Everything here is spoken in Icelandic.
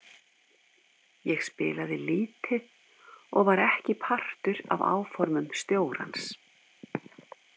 Ég spilaði lítið og var ekki partur af áformum stjórans.